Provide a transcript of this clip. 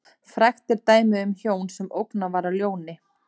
Frægt er dæmið um hjón sem ógnað var af ljóni.